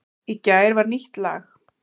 Í gær var nýtt lag